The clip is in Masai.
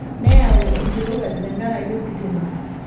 Neyau enkirowuaj tenkaraki ositima.